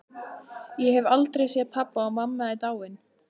Ég hef aldrei séð pabba og mamma er dáin.